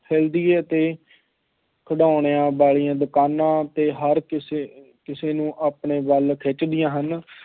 ਅਤੇ ਖਿਡੌਣਿਆਂ ਵਾਲੀਆਂ ਦੁਕਾਨਾਂ ਅਤੇ ਹਰ ਕਿਸੇ ਕਿਸੇ ਨੂੰ ਆਪਣੇ ਵੱਲ ਖਿੱਚਦੀਆਂ ਹਨ।